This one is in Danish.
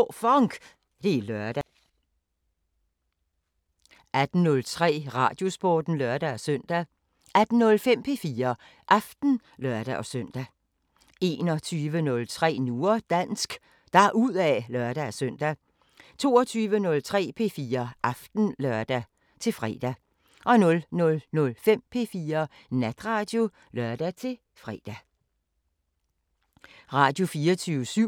Radio24syv